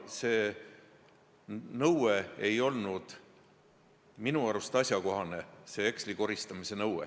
Seega polnud see heksli koristamise nõue minu arust asjakohane.